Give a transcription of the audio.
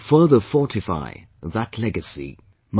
We have to further fortify that legacy